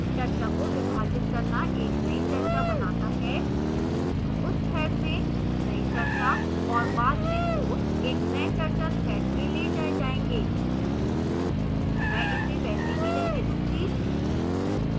चर्चा को विभाजित करना एक नई चर्चा बनाता है उस thread में नई चर्चा और बाद में posts एक नए चर्चा thread में let जाए जाएंगे मैं इसे वैसे ही रहने दूंगी